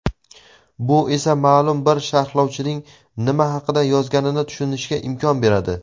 bu esa maʼlum bir sharhlovchining nima haqida yozganini tushunishga imkon beradi.